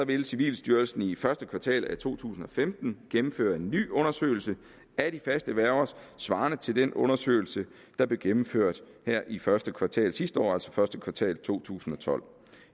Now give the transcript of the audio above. vil civilstyrelsen i første kvartal af to tusind og femten gennemføre en ny undersøgelse af de faste værger svarende til den undersøgelse der blev gennemført i første kvartal sidste år altså i første kvartal to tusind og tolv